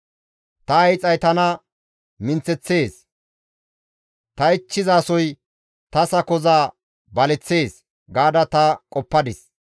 Ta hiixay tana minththeththees; ta ichchizasoy ta sakoza baleththees gaada ta qoppadis.